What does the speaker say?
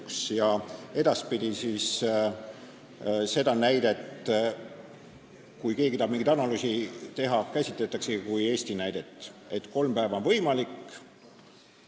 Kui keegi tahab edaspidi mingit analüüsi teha, siis seda näidet käsitletaksegi kui Eesti näidet, et kolm päeva on see võimalik.